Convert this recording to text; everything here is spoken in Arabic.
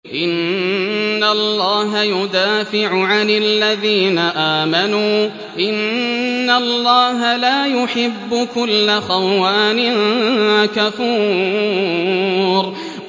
۞ إِنَّ اللَّهَ يُدَافِعُ عَنِ الَّذِينَ آمَنُوا ۗ إِنَّ اللَّهَ لَا يُحِبُّ كُلَّ خَوَّانٍ كَفُورٍ